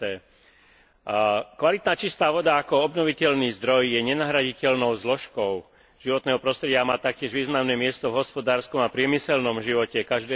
Kvalitná čistá voda ako obnoviteľný zdroj je nenahraditeľnou zložkou životného prostredia a má taktiež významné miesto v hospodárskom a priemyselnom živote každého členského štátu.